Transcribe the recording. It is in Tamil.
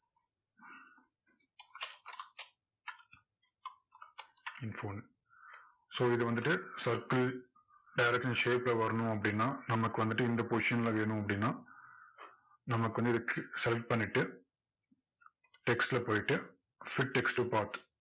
so இதை வந்துட்டு circle direction shape ல வரணும் அப்படின்னா நமக்கு வந்துட்டு இந்த position ல வேணும் அப்படின்னா text ல போயிட்டு fix text to part